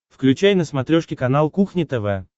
включай на смотрешке канал кухня тв